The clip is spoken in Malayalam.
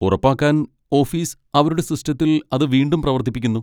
ഉറപ്പാക്കാൻ ഓഫീസ് അവരുടെ സിസ്റ്റത്തിൽ അത് വീണ്ടും പ്രവർത്തിപ്പിക്കുന്നു.